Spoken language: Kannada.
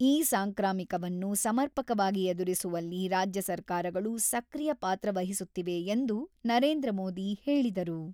ಈ ಸಾಂಕ್ರಾಮಿಕವನ್ನು ಸಮರ್ಪಕವಾಗಿ ಎದುರಿಸುವಲ್ಲಿ ರಾಜ್ಯ ಸರ್ಕಾರಗಳು ಸಕ್ರಿಯ ಪಾತ್ರ ವಹಿಸುತ್ತಿವೆ ಎಂದು ನರೇಂದ್ರ ಮೋದಿ ಹೇಳಿದರು.